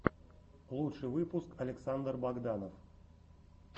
лучший выпуск александр богданов